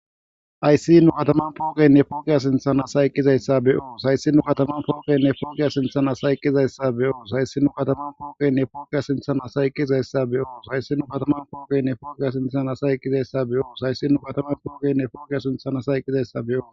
Hayssi nu kathaman pooqenne pooqe sinththan asay eqqizayssa be7oos; hayssi nu kathaman pooqenne pooqe sinththan asay eqqizayssa be7oos; hayssi nu kathaman pooqenne pooqe sinththan asay eqqizayssa be7oos; hayssi nu kathaman pooqenne pooqe sinththan asay eqqizayssa be7oos; hayssi nu kathaman pooqenne pooqe sinththan asay eqqizayssa be7oos.